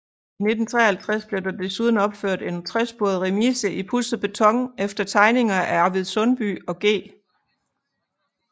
I 1953 blev der desuden opført en tresporet remise i pudset beton efter tegninger af Arvid Sundby og G